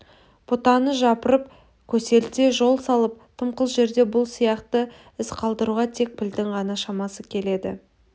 бұтаны жапырып көсілте жол салып дымқыл жерде бұл сияқты із қалдыруға тек пілдің ғана шамасы келеді